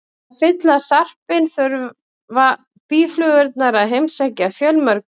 Til að fylla sarpinn þurfa býflugurnar að heimsækja fjölmörg blóm.